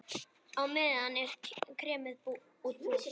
Á meðan er kremið útbúið.